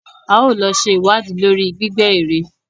A ó lọ ṣe ìwádìí lórí gbígbẹ́ èrè.